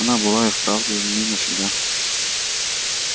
она была вправду не навсегда